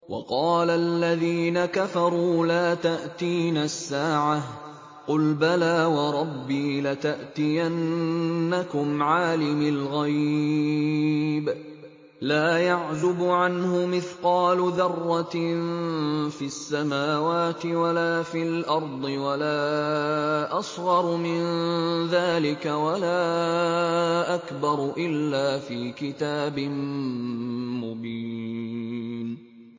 وَقَالَ الَّذِينَ كَفَرُوا لَا تَأْتِينَا السَّاعَةُ ۖ قُلْ بَلَىٰ وَرَبِّي لَتَأْتِيَنَّكُمْ عَالِمِ الْغَيْبِ ۖ لَا يَعْزُبُ عَنْهُ مِثْقَالُ ذَرَّةٍ فِي السَّمَاوَاتِ وَلَا فِي الْأَرْضِ وَلَا أَصْغَرُ مِن ذَٰلِكَ وَلَا أَكْبَرُ إِلَّا فِي كِتَابٍ مُّبِينٍ